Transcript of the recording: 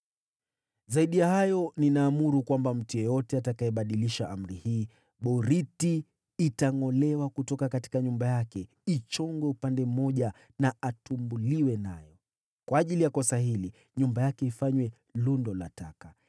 Zaidi ya hayo, ninaamuru kwamba mtu yeyote atakayebadilisha amri hii, boriti itangʼolewa kutoka nyumba yake, ichongwe upande mmoja na atumbuliwe nayo. Kwa ajili ya kosa hili nyumba yake ifanywe lundo la taka.